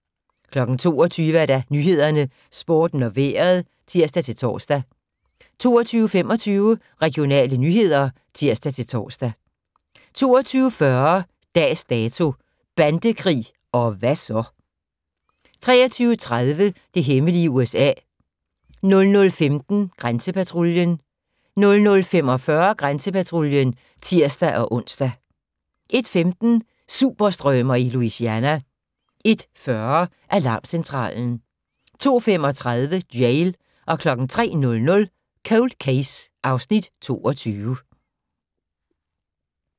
22:00: Nyhederne, Sporten og Vejret (tir-tor) 22:25: Regionale nyheder (tir-tor) 22:40: Dags Dato: Bandekrig - og hvad så? 23:30: Det hemmelige USA 00:15: Grænsepatruljen 00:45: Grænsepatruljen (tir-ons) 01:15: Sumpstrømer i Louisiana 01:40: Alarmcentralen 02:35: Jail 03:00: Cold Case (Afs. 22)